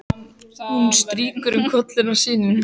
Hún strýkur um kollinn á syninum.